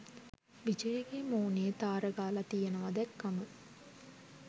විජයගේ මූනේ තාර ගාලා තියනවා දැක්කම